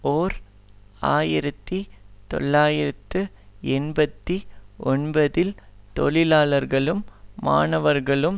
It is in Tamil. ஓர் ஆயிரத்தி தொள்ளாயிரத்து எண்பத்தி ஒன்பதில் தொழிலாளர்களும் மாணவர்களும்